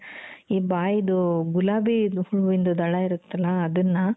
ಈ ಬಾಯಿದು ಗುಲಾಬಿ ಹೂವಿಂದು ದಳ ಇರುತ್ತಲ ಅದುನ್ನ